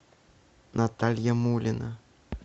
наталья мулина